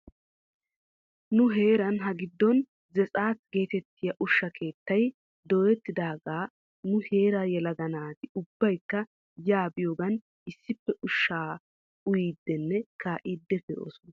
Nu heeran hagiddon zetsaat geetettiyaa ushsha keettay dooyettidaagaa nu heeraa yelaga naati ubbaykka yaa biyoogan issippe ushshaa uyiidinne kaa'iidi pee"oosana.